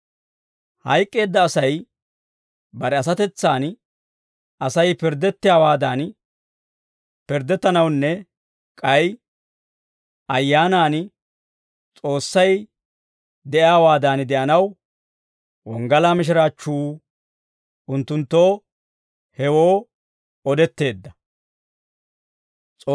Hayk'k'eedda asay bare asatetsan Asay pirddettiyaawaadan pirddettanawunne k'ay ayyaanan S'oossay de'iyaawaadan de'anaw, wonggalaa mishiraachchuu unttunttoo hewoo odetteedda.